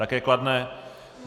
Také kladné.